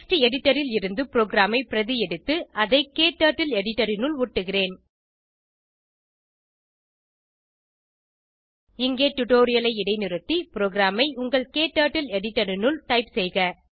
text editor ல் இருந்து ப்ரோகிராமை பிரதி எடுத்து அதை க்டர்ட்டில் எடிட்டர் னுள் ஒட்டுகிறேன் இங்கே டுடோரியலை இடைநிறுத்தி ப்ரோகிராமை உங்கள் க்டர்ட்டில் எடிட்டர் னுள் டைப் செய்க